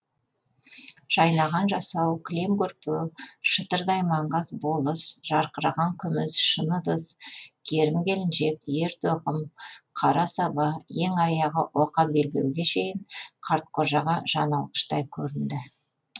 жайнаған жасау кілем көрпе шытырдай маңғаз болыс жарқыраған күміс шыны ыдыс керім келіншек ер тоқым қара саба ең аяғы оқа белбеуге шейін қартқожаға жан алғыштай көрінді